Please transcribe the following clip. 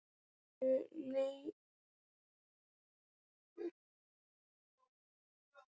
Við leituðum lengra inn í sjálf okkur.